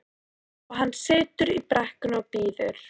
Og hann situr í brekkunni og bíður.